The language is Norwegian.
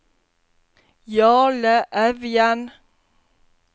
Jarle Evjen